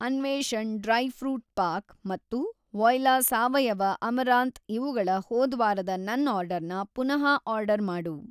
ಅನ್ವೇಷಣ್ dry fruit pack ಮತ್ತು voila ಸಾವಯವ amaranth ಇವುಗಳ ಹೋದ್ವಾರದ ನನ್‌ ಆರ್ಡರ್‌ನ ಪುನಃ ಆರ್ಡರ್‌ ಮಾಡು.